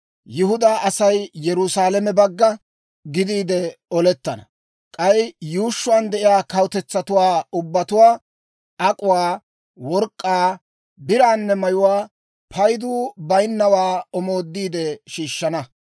Yihudaa Asay Yerusaalame bagga gidiide olettana. K'ay yuushshuwaan de'iyaa kawutetsatuwaa ubbatuwaa ak'uwaa, work'k'aa, biraanne mayuwaa paydu bayinnawaa omoodiide shiishshana.